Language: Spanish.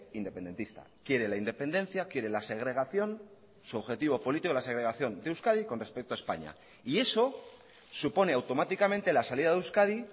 independentista quiere la independencia quiere la segregación su objetivo político la segregación de euskadi con respecto a españa y eso supone automáticamente la salida de euskadi